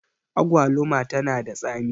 agwaluma tana da tsami